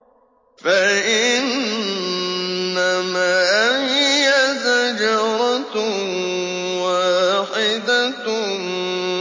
فَإِنَّمَا هِيَ زَجْرَةٌ وَاحِدَةٌ